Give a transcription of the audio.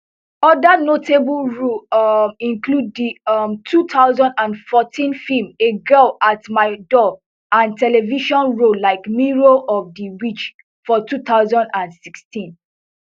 oda notable roles um include di um two thousand and fourteen film a girl at my door and television roles like mirror of di witch for two thousand and sixteen